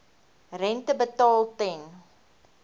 rente betaal ten